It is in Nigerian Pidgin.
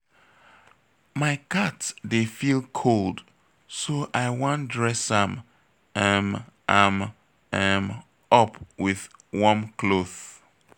My cat dey feel cold so I wan dress am um am um up with warm cloth